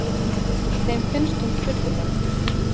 Þeim finnst hún furðuleg.